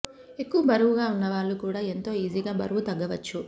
ఎక్కువ బరువుగా ఉన్న వాళ్లు కూడా ఎంతో ఈజీగా బరువు తగ్గవచ్చు